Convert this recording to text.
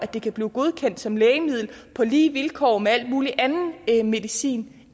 det kan blive godkendt som lægemiddel på lige vilkår med al mulig anden medicin